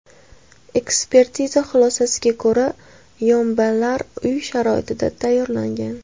Ekspertiza xulosasiga ko‘ra, yombilar uy sharoitida tayyorlangan.